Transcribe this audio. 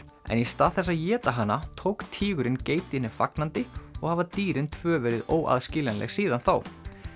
en í stað þess að éta hana tók tígurinn geitinni fagnandi og hafa dýrin tvö verið óaðskiljanleg síðan þá